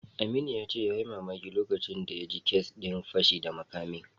Aminu ya ce yayi mamaki lokacin da ya ji kes din fashi da makamin.